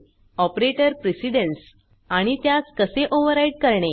operator precedence आणि त्यास कसे ओवर्राइड करणे